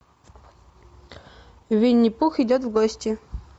винни пух идет в гости